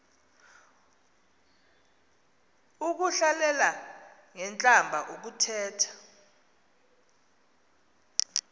ukuhlalela ngentlamba ukuthetha